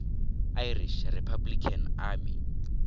irish republican army